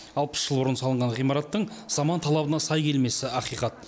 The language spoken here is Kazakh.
алпыс жыл бұрын салынған ғимараттың заман талабына сай келмесі ақиқат